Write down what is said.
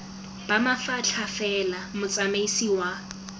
ba mafatlha fela motsamaisi wa